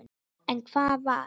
En hvar var